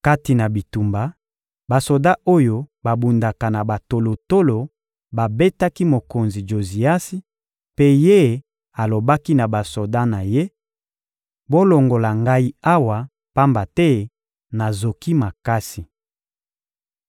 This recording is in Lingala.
Kati na bitumba, basoda oyo babundaka na batolotolo babetaki mokonzi Joziasi, mpe ye alobaki na basoda na ye: — Bolongola ngai awa, pamba te nazoki makasi.